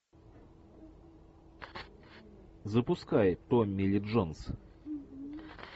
запускай томми ли джонс